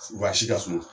Wa si ka suma